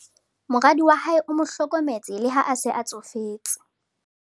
moradi wa hae o mo hlokometse le ha a se a tsofetse